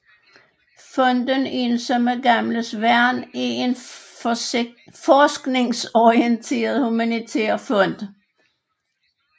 Fonden Ensomme Gamles Værn er en forskningsorienteret humanitær fond